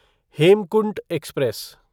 Hemkunt express